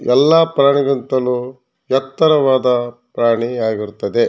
ಎಲ್ಲ ಪ್ರಾಣಿಗಿಂತಲೂ ಎತ್ತರವಾದ ಪ್ರಾಣಿ ಆಗಿರುತ್ತದೆ.